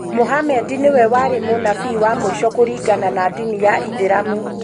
muhammed nĩwe warĩ munabii wa muisho kũringana na ndinĩ ya ithĩramu.